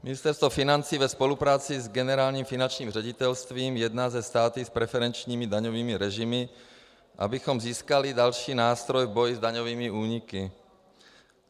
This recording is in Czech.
Ministerstvo financí ve spolupráci s Generálním finančním ředitelstvím jedná se státy s preferenčními daňovými režimy, abychom získali další nástroj v boji s daňovými úniky.